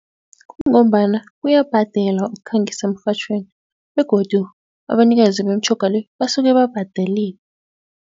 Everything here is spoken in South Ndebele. Kungombana kuyabhadelwa ukukhangisa emrhatjhweni begodu abanikazi bemitjhoga le basuke babhadelile.